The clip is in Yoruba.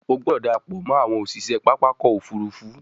O gbódò darapọ mọ àwọn òṣiṣẹ pápá ọkọ̀-òfurufú!